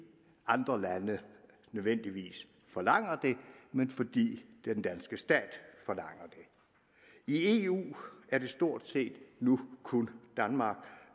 andre lande nødvendigvis forlanger det men fordi den danske stat forlanger det i eu er det stort set nu kun danmark